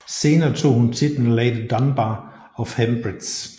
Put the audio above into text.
Senere tog hun titlen Lady Dunbar of Hempriggs